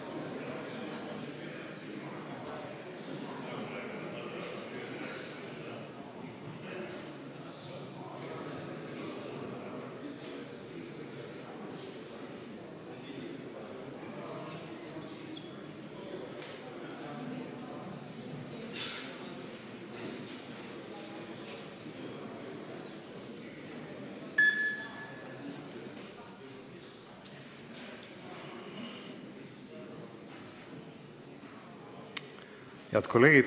Kohaloleku kontroll Head kolleegid!